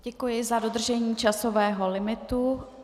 Děkuji za dodržení časového limitu.